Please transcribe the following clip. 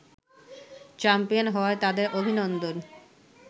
champion হওয়ায় তাদের অভিনন্দন